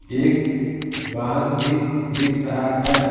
एक वाहन भी दिख रहा है।